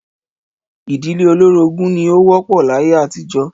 Ìdílé olórogún ni ó wó̩p̩ò̩ láyé àtijó̩